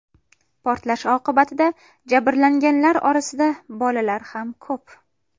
Portlash oqibatida jabrlanganlar orasida bolalar ham ko‘p.